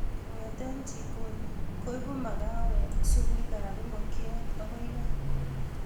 Kongete jikoni, koibu makawek supuikab ingonyet akoi kaa